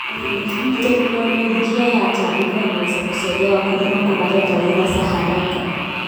Teknolojia ya taarifa inaweza kusaidia wakulima kupata taarifa za haraka.